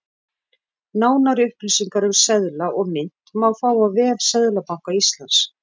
Nánari upplýsingar um seðla og mynt má fá á vef Seðlabanka Íslands.